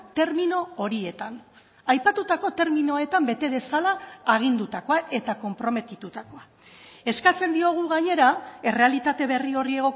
termino horietan aipatutako terminoetan bete dezala agindutakoa eta konprometitutakoa eskatzen diogu gainera errealitate berri horri